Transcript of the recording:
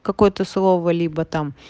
какое-то слово либо там